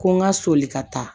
Ko n ka soli ka taa